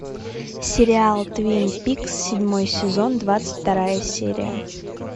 сериал твин пикс седьмой сезон двадцать вторая серия